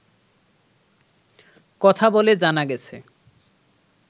কথা বলে জানা গেছে